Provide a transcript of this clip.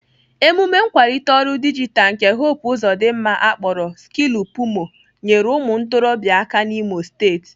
Emume nkwalite ọrụ dijitalụ nke Hope Uzodimma akpọrọ Skillupimo nyere ụmụ ntorobịa aka n'Imo steeti.